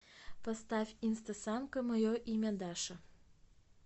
поставь инстасамка мое имя даша